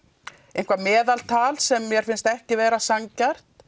eitthvað meðaltal sem mér finnst ekki vera sanngjarnt